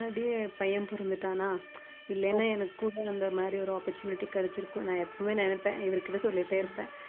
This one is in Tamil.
முன்னாடியே பையன் பொறந்துட்டானா இல்லைன்னா எனக்கும் அந்த மாதிரி ஒரு opportunity கிடைச்சிருக்கும் நான் எப்பவுமே நினைப்பேன் இவர் கிட்ட சொல்லிட்டே இருப்பேன்